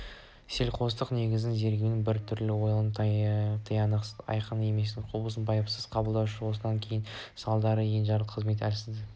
селқостық негізінен зерігудің бір түрі ойлаудың тиянақсыздығы айқын еместігі құбылысты байыпсыз қабылдаушылық осыдан оның салдары енжарлық қызметтік әлсіздік